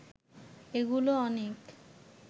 এগুলো অনেক